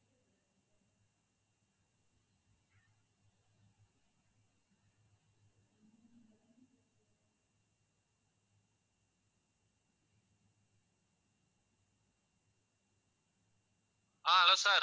ah hello sir